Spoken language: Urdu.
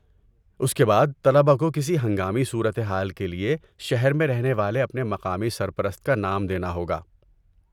اس کے بعد، طلبہ کو کسی ہنگامی صورت حال کے لیے شہر میں رہنے والے اپنے مقامی سرپرست کا نام دینا ہوگا۔